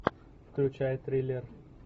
включай триллер